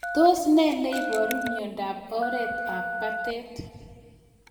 Tos nee neiparu miondop oret ab patet